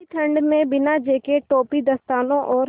ऐसी ठण्ड में बिना जेकेट टोपी दस्तानों और